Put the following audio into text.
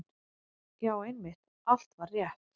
Já, einmitt, allt var rétt.